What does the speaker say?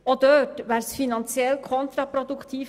Auch dort wäre ein Abbau finanziell kontraproduktiv.